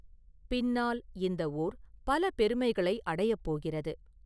பின்னால், இந்த ஊர் பல பெருமைகளை அடையப் போகிறது.